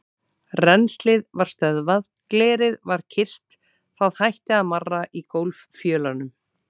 Rennslið var stöðvað, glerið var kyrrt, það hætti að marra í gólffjölunum.